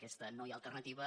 aquesta no hi ha alternativa